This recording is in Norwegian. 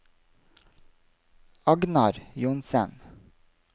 Agnar Johnsen